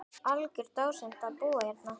Algjör dásemd að búa hérna.